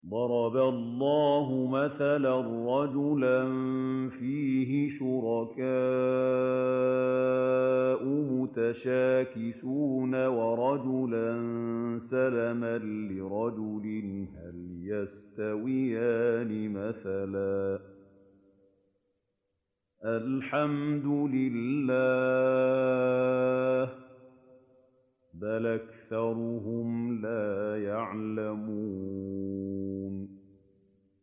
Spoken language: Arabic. ضَرَبَ اللَّهُ مَثَلًا رَّجُلًا فِيهِ شُرَكَاءُ مُتَشَاكِسُونَ وَرَجُلًا سَلَمًا لِّرَجُلٍ هَلْ يَسْتَوِيَانِ مَثَلًا ۚ الْحَمْدُ لِلَّهِ ۚ بَلْ أَكْثَرُهُمْ لَا يَعْلَمُونَ